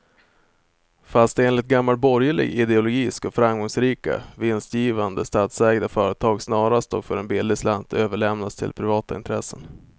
Fast enligt gammal borgerlig ideologi ska framgångsrika, vinstgivande statsägda företag snarast och för en billig slant överlämnas till privata intressen.